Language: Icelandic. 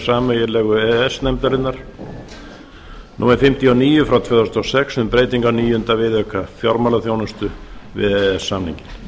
sameiginlegu e e s nefndarinnar númer fimmtíu og níu tvö þúsund og sex um breytingu á níunda viðauka við e e s samninginn